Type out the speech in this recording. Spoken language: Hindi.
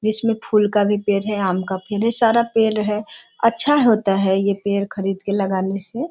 जिसमें फूल का भी पेड़ है आम का भी सारा पेड़ हैं अच्छा होता है यह पेड़ खरीद के लगाने से।